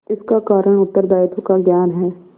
इसका कारण उत्तरदायित्व का ज्ञान है